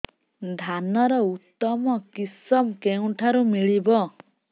ଧାନର ଉତ୍ତମ କିଶମ କେଉଁଠାରୁ ମିଳିବ